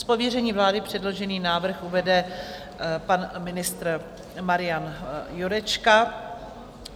Z pověření vlády předložený návrh uvede pan ministr Marian Jurečka.